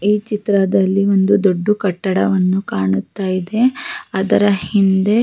ಈ ಚಿತ್ರದಲ್ಲಿ ಒಂದು ದೊಡ್ದು ಕಟ್ಟಡವನ್ನು ಕಾಣುತ ಇದೆ ಅದರ ಹಿಂದೆ --